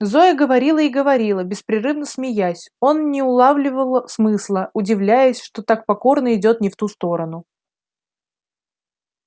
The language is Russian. зоя говорила и говорила беспрерывно смеясь он не улавливал смысла удивляясь что так покорно идёт не в ту сторону